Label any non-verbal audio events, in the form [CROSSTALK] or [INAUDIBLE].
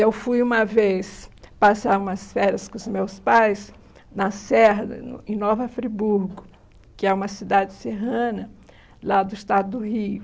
Eu fui uma vez passar umas férias com os meus pais na Serra, [UNINTELLIGIBLE] em Nova Friburgo, que é uma cidade serrana lá do estado do Rio.